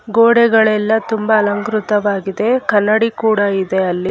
ಗೋಡೆಗಳೆಲ್ಲ ತುಂಬಾ ಅಲಂಕೃತವಾಗಿದೆ ಕನ್ನಡಿ ಕೂಡ ಇದೆ ಅಲ್ಲಿ--